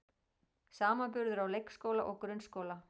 Samanburður á leikskóla og grunnskóla